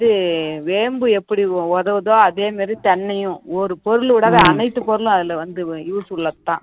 இது வேம்பு எப்படி உதவுதோ அதே மாதிரி தென்னையும் ஒரு பொருள் விடாத அனைத்து பொருளும் அதுல வந்து use உள்ளதுதான்